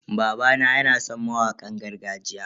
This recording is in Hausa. Babana yana san mawakan gargajiya.